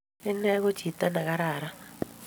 Ine ko chito ne kararan